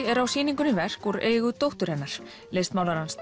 er á sýningunni verk úr eigu dóttur hennar listmálarans